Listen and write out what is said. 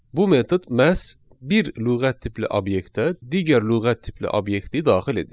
Bu metod məhz bir lüğət tipli obyektə digər lüğət tipli obyekti daxil edir.